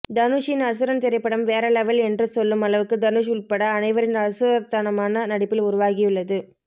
தனுஷின் அசுரன் திரைப்படம் வேற லெவல் என்று சொல்லும் அளவுக்கு தனுஷ் உள்பட அனைவரின் அசுரத்தனமான நடிப்பில் உருவாகியுள்ளது